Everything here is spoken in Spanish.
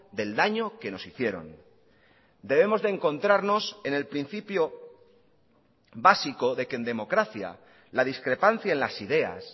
del daño que nos hicieron debemos de encontrarnos en el principio básico de que en democracia la discrepancia en las ideas